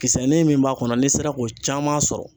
Kisɛnin min b'a kɔnɔ ni sera k'o caman sɔrɔ.